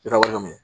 Sira wale